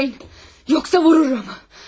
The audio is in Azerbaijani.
Qıpırdamayın, yoxsa vururam ha.